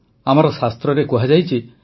ଆମର ଶାସ୍ତ୍ରରେ କୁହାଯାଇଛି ଯେ